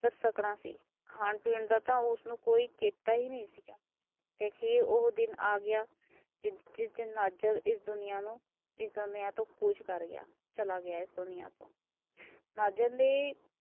ਦੇ ਸਕਣਾ ਸੀ। ਖਾਣ ਪੀਣ ਦਾ ਤਾ ਉਸਨੂੰ ਕੋਈ ਚੇਤਾ ਈ ਨਹੀਂ ਸੀ। ਤੇ ਅਖੀਰ ਉਹ ਦਿਨ ਆ ਗਿਆ ਜਿਸ ਦਿਨ ਨਾਜਰ ਇਸ ਦੁਨੀਆ ਨੂੰ ਇਸ ਦੁਨੀਆ ਤੋਂ ਕੂਚ ਕਰ ਗਿਆ। ਚਲਾ ਗਿਆ ਇਸ ਦੁਨੀਆ ਤੋਂ। ਨਜ਼ਰ ਦੇ